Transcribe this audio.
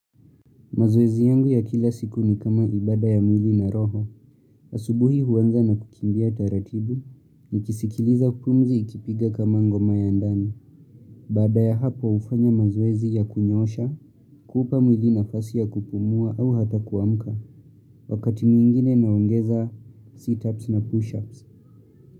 Mazoezi yangu ya kila siku ni kama ibada ya mwili na roho, asubuhi huanza na kukimbia taratibu, nikisikiliza pumzi ikipiga kama ngoma ya ndani. Baada ya hapo hufanya mazoezi ya kunyosha, kuupa mwili nafasi ya kupumua au hata kuamka, wakati mwingine naongeza seatups na pushups.